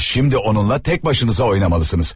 Amma şimdi onunla tək başınıza oynamalısınız.